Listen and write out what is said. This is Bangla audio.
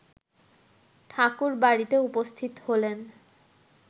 ঠাকুরবাড়িতে উপস্থিত হলেন